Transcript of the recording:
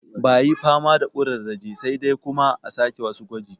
Bayi fama da ƙurarraje sai dai kuma a sake wasu gwaji